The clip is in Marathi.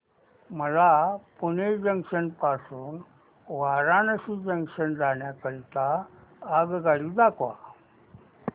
मला पुणे जंक्शन पासून वाराणसी जंक्शन जाण्या करीता आगगाडी दाखवा